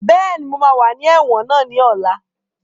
Bẹ́ẹ̀ni, mo máa wà ní ẹ̀wọ̀n náà ní ọ̀la